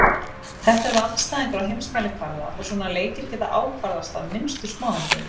Þetta eru andstæðingar á heimsmælikvarða og svona leikir geta ákvarðast af minnstu smáatriðum.